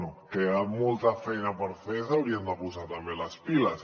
bé queda molta feina per fer i s’haurien de posar també les piles